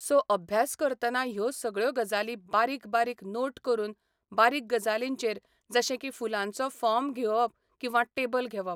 So अभ्यास करतना ह्यो सगळ्यो गजाली बारीक बारीक नोट करून बारीक गजालींचेर जशें की फुलांचो फोर्म घेवप किंवा टॅबल घेवप.